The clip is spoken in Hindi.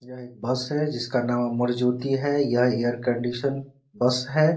यह एक बस है जिसका नाम अमर ज्योति है यह ऐयर कंडिशनर बस है ।